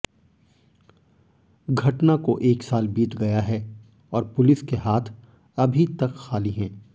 घटना को एक साल बीत गया है और पुलिस के हाथ अभी तक खाली हैं